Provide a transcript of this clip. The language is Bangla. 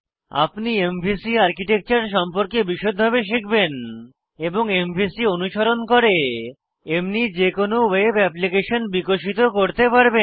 আপনি এমভিসি আর্কিটেকচার সম্পর্কে বিষদভাবে শিখবেন এবং এমভিসি অনুসরণ করে এমনি যে কোনো ওয়েব অ্যাপ্লিকেশন বিকশিত করতে পারবেন